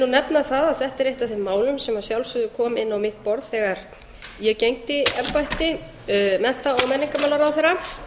nefna það að þetta er eitt af þeim málum sem að sjálfsögðu kom inn á mitt borð þegar ég gegndi embætti mennta og menningarmálaráðherra